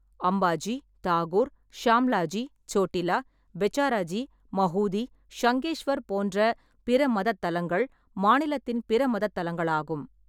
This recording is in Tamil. அம்பாஜி, தாகூர், ஷாம்லாஜி, சோட்டிலா, பெச்சாராஜி, மஹூதி, ஷங்கேஷ்வர் போன்ற பிற மதத் தலங்கள் மாநிலத்தின் பிற மதத் தலங்களாகும்.